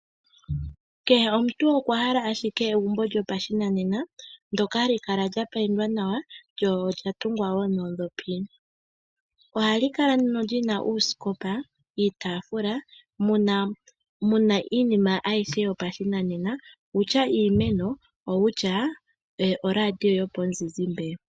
Kehe omuntu okwa hala ashike egumbo lyopashinanena ndoka hali kala lya payindwa nawa lyo olya tungwa wo noondhopi. Ohali kala nduno lyina oosikopa, iitaafula muna wo iinima ayihe yopashinanena kutya iimeno nenge oradio yopamuzizimbe.